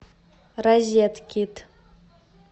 розеткид